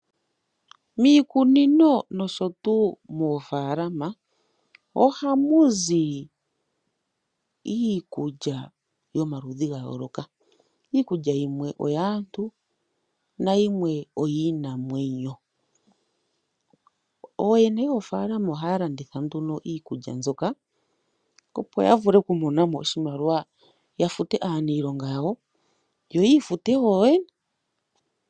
Miikunino nosho tuu moofaalama ohamu zi iikulya yomaludhi gayooloka. Iikulya yimwe oyaantu nayimwe oyiinamwenyo. Oyene yoofaalama ohaya landitha nduno iikulya mbyoka opo yavule okumonamo oshimaliwa yafute aaniilonga yawo, yo yifute wo yoyene.